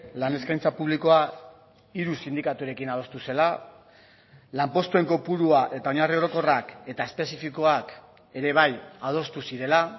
lan eskaintza publikoa hiru sindikaturekin adostu zela lanpostuen kopurua eta oinarri orokorrak eta espezifikoak ere bai adostu zirela